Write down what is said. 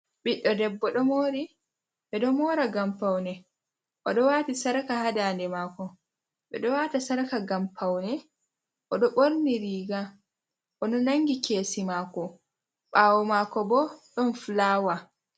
Ɓiɗɗo debbo ɗo mori ɓe ɗo mora gam paune. O ɗo wati sarka ha dade mako, ɓedo wata sarka gam paune. O ɗo borni riga, o ɗo nangi kesi mako bawo mako bo don fulawa.